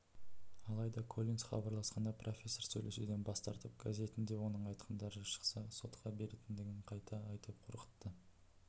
алайда коллинс хабарласқанда профессор сөйлесуден бас тартып газетінде оның айтқандары шықса сотқа беретіндігін қайта айтып қорқытты